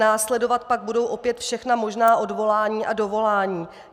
Následovat pak budou opět všechna možná odvolání a dovolání.